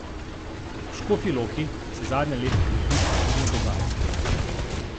V Škofji Loki se zadnja leta krepi kulturno dogajanje.